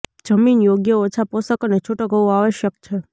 જમીન યોગ્ય ઓછા પોષક અને છૂટક હોવું આવશ્યક છે